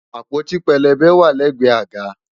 Àpótí pélébé wà lẹ́gbẹ̀ẹ́ àga